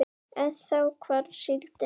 En þá hvarf síldin.